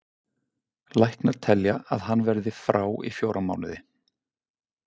Læknar telja að hann verði frá í fjóra mánuði.